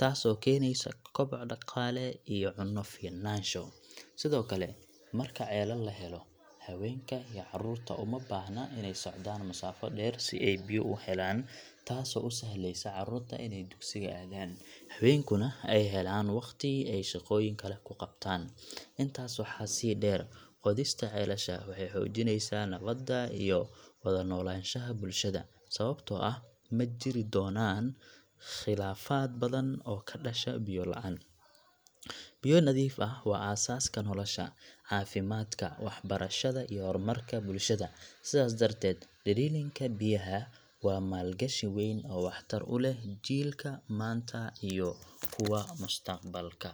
taasoo keenaysa koboc dhaqaale iyo cunno ficnaansho. Sidoo kale, marka ceelal la helo, haweenka iyo carruurta uma baahna inay socdaan masaafo dheer si ay biyo u helaan, taasoo u sahlaysa carruurta inay dugsiga aadaan, haweenkuna ay helaan waqti ay shaqooyin kale ku qabtaan. Intaas waxaa sii dheer, qodista ceelasha waxay xoojinaysaa nabadda iyo wada-noolaanshaha bulshada, sababtoo ah ma jiri doonaan khilaafaad badan oo ka dhasha biyo la'aan. Biyo nadiif ah waa asaaska nolosha, caafimaadka, waxbarashada iyo horumarka bulshada, sidaas darteed, drilling ka biyaha waa maalgashi weyn oo waxtar u leh jiilka maanta iyo kuwa mustaqbalka.